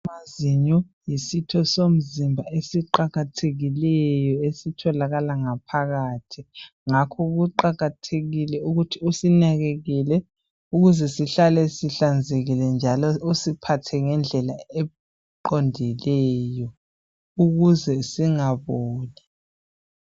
Amazinyo yisito somzimba eziqakathekileyo esithilakala ngaphakathi ngakho kuqakathekile ukuthi usinakelele ukuze sihlale sihlanzekile usiphathe ngendlela eqondileyo ukuze singaboli